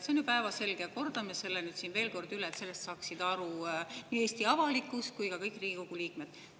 See on ju päevselge, aga kordan selle siin veel kord üle, et sellest saaks aru nii Eesti avalikkus kui ka kõik Riigikogu liikmed.